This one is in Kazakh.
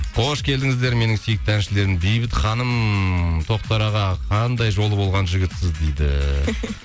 қош келдіңіздер менің сүйікті әншілерім бейбіт ханым тоқтар аға қандай жолы болған жігітсіз дейді